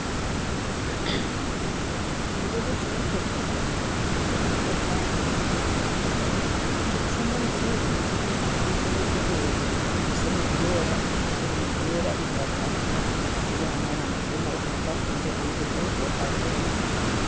Nindeeba ekimotoka ebimotoka ebyenguuto ekikushomba omusheenyi n'ekirukuguyoora bikwitse nibiyoora omusheenyi nibiyoora itaka biri ahamaramu byoona biruho bipakingire ahamutwe gwabyo haruho